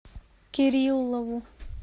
кириллову